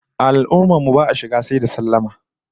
A al'ummar mu ba'a shiga sai da sallama